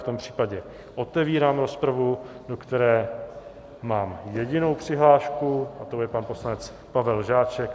V tom případě otevírám rozpravu, do které mám jedinou přihlášku, a to je pan poslanec Pavel Žáček.